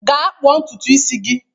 Gaa kpụọ ntutu isi gị